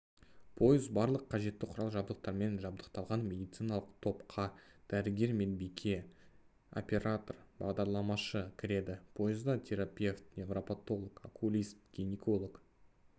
пойыз барлық қажетті құрал-жабдықтармен жабдықталған медициналық топқа дәрігер медбике оператор-бағдарламашы кіреді пойызда терапевт неврапотолог окулист гинеколог